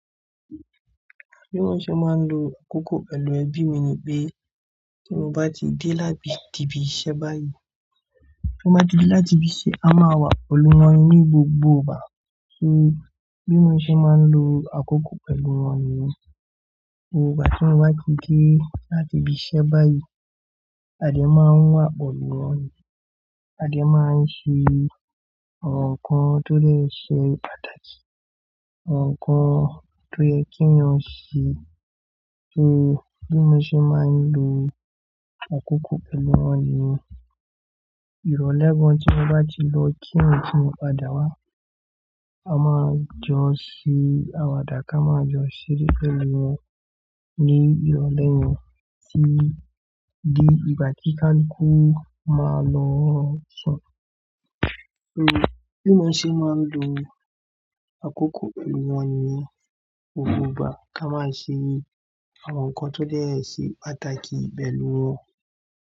Bí mo ṣe máa ń lo àkókò pẹ̀lú ẹbí mi ni pé tí mo bá ti dé láti ibi iṣẹ́ báyìí, mo máa ti dé láti ibi iṣẹ́ a máa wà pẹ̀lú wọn ní gbogbo ìgbà. Bí mo ṣe máa ń lo àkókò pẹ̀lú wọn ni. Gbogbo ìgbà tí mo bá ti dé láti ibi iṣẹ́ báyìí a dẹ máa wà pẹ̀lú wọn ni. A dẹ máa ń ṣe àwọn nǹkan tó lè ṣe pàtàkì, àwọn nǹkan tó yẹ kí wọn ṣe. So bí mo ṣe máa ń lo àkókò pẹ̀lú wọn ni ìrọ̀lẹ́ wọn tí mo bá ti lọ kí wọn tí mo padà wá, a máa jọ ṣe àwàdà ká máa jọ ṣeré pẹ̀lú wọn ní ìrọ̀lẹ́ wọn tí di ìgbà tí kálukú máa lọ. Bí mo ṣe máa ń lo àkókò pẹ̀lú wọn ni yen. Òfúù bá ká máa ṣe àwọn nǹkan tó lè ṣe pàtàkì pẹ̀lú wọn.